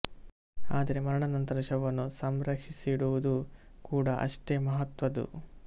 ಆದರೆ ಮರಣದ ನಂತರ ಶವವನ್ನು ಸಂರಕ್ಷಿಸಿಡುವುದು ಕೂಡ ಅಷ್ಟೇ ಮಹತ್ವದ್ದು